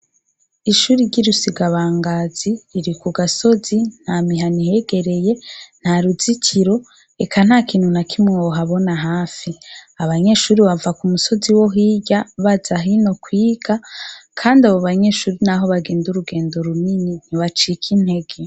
Ishuri iryiruse igabangazi iri ku gasozi nta mihano ihegereye nta ruzikiro eka nta kintu na kimwohabona hafi abanyeshuri bava ku musozi wo hirya bazahino kwiga, kandi abo banyeshuri, naho bagenda urugendo runini nibacike intege.